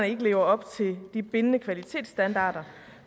ikke lever op til de bindende kvalitetsstandarder